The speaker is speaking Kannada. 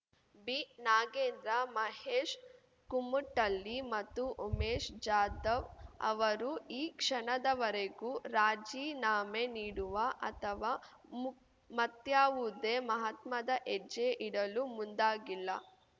ಬಿನಾಗೇಂದ್ರ ಮಹೇಶ್‌ ಕುಮಟಳ್ಳಿ ಮತ್ತು ಉಮೇಶ್‌ ಜಾಧವ್‌ ಅವರು ಈ ಕ್ಷಣದವರೆಗೂ ರಾಜೀನಾಮೆ ನೀಡುವ ಅಥವಾ ಮು ಮತ್ಯಾವುದೇ ಮಹತ್ಮದ ಹೆಜ್ಜೆ ಇಡಲು ಮುಂದಾಗಿಲ್ಲ